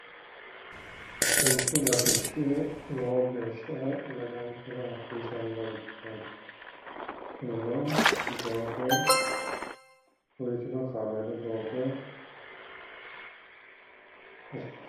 xintu latishshi lowo geeshsha dagankera hasiisannorichooti kunino doogo woyyitino kaameellu doogo .